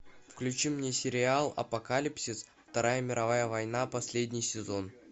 включи мне сериал апокалипсис вторая мировая война последний сезон